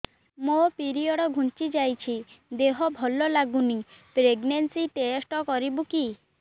ମୋ ପିରିଅଡ଼ ଘୁଞ୍ଚି ଯାଇଛି ଦେହ ଭଲ ଲାଗୁନି ପ୍ରେଗ୍ନନ୍ସି ଟେଷ୍ଟ କରିବୁ କି